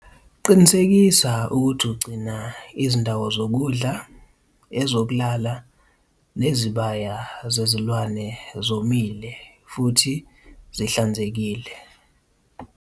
Qinisekisa ukuthi ugcina izindawo zokudla, ezokulala nezibaya zezilwane zomile futhi zihlanzekile.